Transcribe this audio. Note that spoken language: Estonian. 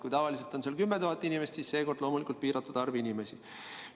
Kui tavaliselt on seal 10 000 inimest, siis seekord loomulikult piiratud arv inimesi.